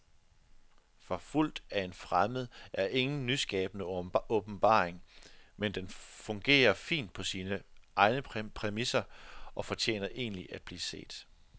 Forfulgt af en fremmed er ingen nyskabende åbenbaring, men den fungerer fint på sine egne præmisser og fortjener egentlig at blive set.